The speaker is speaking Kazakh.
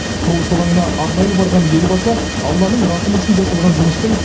құрылыс алаңына арнайы барған елбасы алланың рақымы үшін жасалған жұмыстың